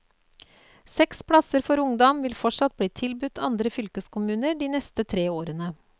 Seks plasser for ungdom vil fortsatt bli tilbudt andre fylkeskommuner de neste tre årene.